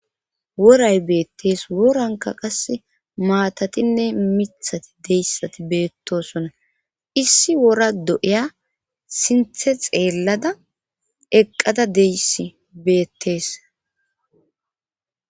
woray beettees woranka qase maatatinne mithati deyssati beettosona issi wora do7iya sinthe xeellada eqqada deyssi beettees